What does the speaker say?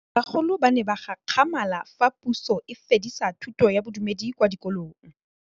Bagolo ba ne ba gakgamala fa Pusô e fedisa thutô ya Bodumedi kwa dikolong.